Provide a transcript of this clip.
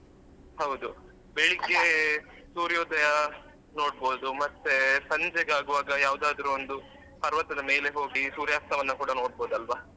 ಹೌದು ಬೆಳ್ಳಿಗೆ ಸೂರ್ಯೋದಯ ನೋಡ್ಬೋದು ಮತ್ತೆ ಸಂಜೆಗಾಗುವಾಗ ಯಾವ್ದಾದ್ರು ಒಂದು ಪರ್ವತದ ಮೇಲೆ ಹೋಗಿ ಸೂರ್ಯಾಸ್ತವನ್ನು ಕೂಡ ನೋಡ್ಬೋದು ಅಲ್ವ.